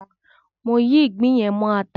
Mò ń yí ìgbín yẹn mọ ata.